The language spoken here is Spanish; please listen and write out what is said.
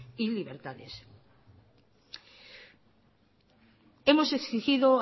y libertades hemos exigido